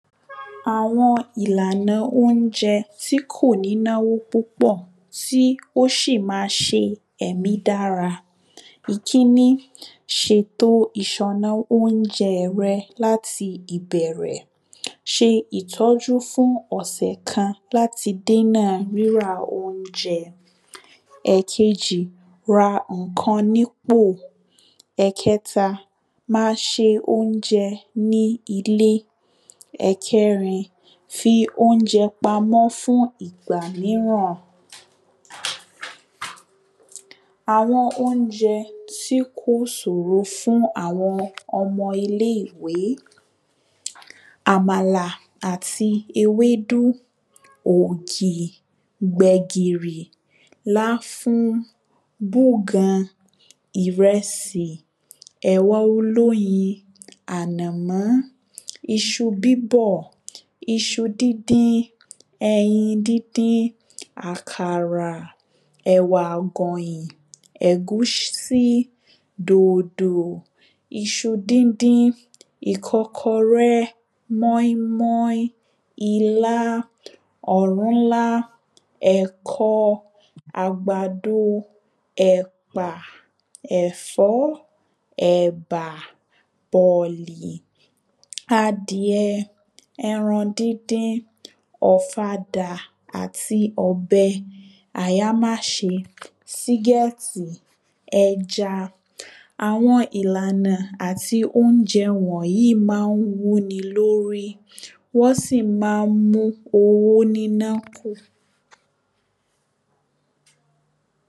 àwọn ìlànà oúnjẹ tí kò ní náwó púpọ̀ tí ó sì má ṣe ẹ̀mí dára ìkíni, ṣètò ìsọ́nà oúnjẹ rẹ láti ìbẹ̀rẹ̀ ṣe ìtọ́jú fún ọ̀sẹ̀ kan láti dènà rírà oúnjẹ ẹ̀kejì, ra ǹkan ní pò ẹ̀kẹta, ma ṣe oúnjẹ ní ilé ẹ̀kẹrin, fi oúnjẹ pa mọ́ fún ìgbà míràn àwọn oúnjẹ tí kò sòro fún àwọn ọmọ ilé ìwé àmàlà àti ewédú ògì, gbẹ̀gìrì, láfún, búgan, ìrẹsì, ẹ̀wà olóyin, ànàmọ́n iṣu bíbọ̀, iṣu díndín, ẹyin díndín, àkàrà, ẹ̀wà àgọ̀yìn, ẹ̀gúsí, dòdò iṣu díndín, ìkọ́kọrẹ́, mọ́ín mọ́ín, ilá, ọ̀rúnlá, ẹ̀kọ, àgbàdo ẹ̀pà, ẹ̀fọ́, ẹ̀bà, bọ̀lì, adìẹ, ẹran díndín, ọ̀fadà àti ọ̀bẹ, àyámáṣe, sígẹ́ẹ̀tì, ẹja àwọn ìlànà àti oúnjẹ wọ̀nyí má ń wú ni lórí wọ́n sì má ń mú owó níná kù